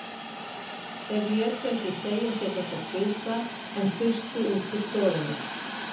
Þeir létu ekki segja sér þetta tvisvar, en þustu út úr stofunni.